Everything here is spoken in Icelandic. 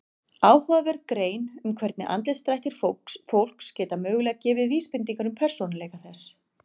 Áhugaverð grein um hvernig andlitsdrættir fólks geta mögulega gefið vísbendingar um persónuleika þess.